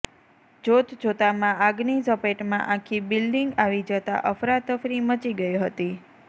જોતજોતામાં આગની ઝપેટમાં આખી બિલ્ડીંગ આવી જતા અફરાતફરી મચી ગઈ હતી